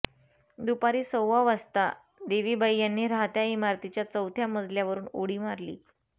दुपारी सव्वा वाजता देवीबाई यांनी राहत्या इमारतीच्या चौथ्या मजल्यावरुन उडी मारली